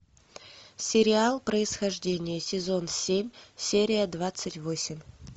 сериал происхождение сезон семь серия двадцать восемь